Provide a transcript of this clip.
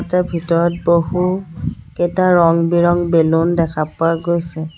ভিতৰত বহু কেইটা ৰঙ বিৰং বেলুন দেখা পোৱা গৈছে।